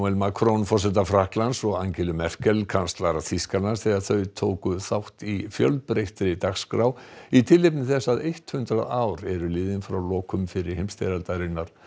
Macron forseta Frakklands og Angelu Merkel kanslara Þýskalands þegar þau tóku þátt í fjölbreyttri dagskrá í tilefni þess að eitt hundrað ár eru liðin frá lokum fyrri heimsstyrjaldarinnar